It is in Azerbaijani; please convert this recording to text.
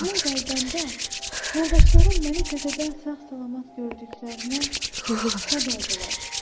Mən qayıdanda yoldaşlarım mənə təzədən sağ-salamat gördüklərinə şad oldular.